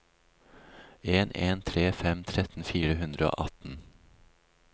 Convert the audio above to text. en en tre fem tretten fire hundre og atten